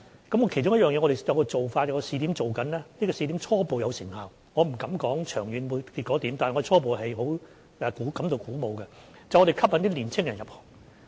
我們其中有一個做法，正在進行的試點初步有成效，我不敢說它長遠結果是怎樣，但初步我們是感到鼓舞的，就是吸引青年人入行。